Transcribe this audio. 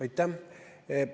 Aitäh!